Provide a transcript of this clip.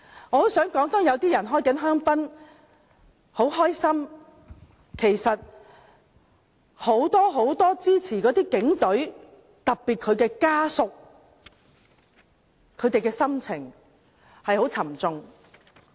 我想說，當有些人正在開香檳、很高興的同時，其實很多支持警隊的人，特別是警隊家屬的心情是非常沉重的。